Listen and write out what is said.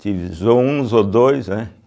Tive zoo um, zoo dois, né?